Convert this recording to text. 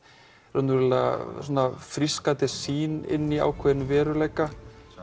raunverulega frískandi sýn inn í ákveðinn veruleika